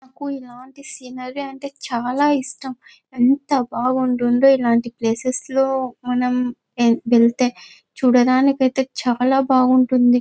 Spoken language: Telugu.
నాకు ఇలాంటి సినారి అంటే చాలా ఇష్టం. ఎంత బాగుంటుందో ఇలాంటి ప్లేసెస్ లో వెళ్తే మనం చూడడానికి చాలా బాగా బాగుంటుంది.